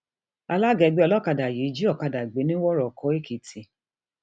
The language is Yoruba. alága ẹgbẹ olókàdá yìí jí ọkadà gbé nìwòròkó èkìtì um